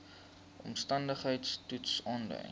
omstandigheids toets aandui